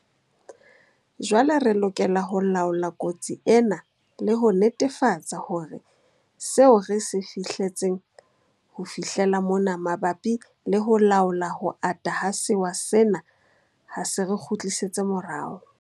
Jwale re lokela ho laola kotsi ena le ho netefatsa hore seo re se fihletseng ho fihlela mona mabapi le ho laola ho ata ha sewa sena ha se re kgutlisetse morao.